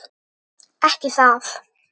Ekki það?